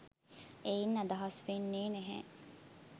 එයින් අදහස් වෙන්නේ නැහැ